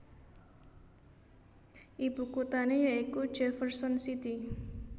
Ibukuthané yakuwi Jefferson City